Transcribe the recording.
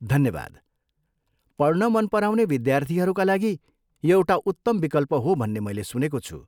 धन्यवाद, पढ्न मन पराउने विद्यार्थीहरूका लागि यो एउटा उत्तम विकल्प हो भन्ने मैले सुनेको छु।